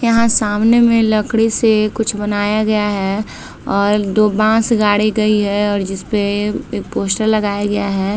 यहाँ सामने में कुछ लकड़ी से कुछ बनाया गया है और दो बांस गाड़े गई है और जिसपे एक पोस्टर लगाया गया है।